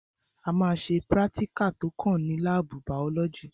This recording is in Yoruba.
A ma ṣe prátíkà tó kàn ní lábù bàọ́lọ́gì.